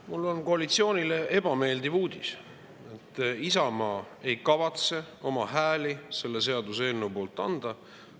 Mul on koalitsioonile ebameeldiv uudis: Isamaa ei kavatse oma hääli selle seaduseelnõu poolt anda.